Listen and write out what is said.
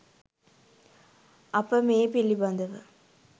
අප මේ පිළිබඳව